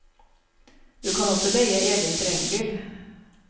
Du kan også leie egen terrengbil.